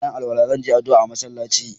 Ina yin alwala na, zan je addu'a a'masallaci.